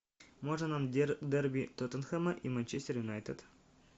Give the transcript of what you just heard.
можно нам дерби тоттенхэма и манчестер юнайтед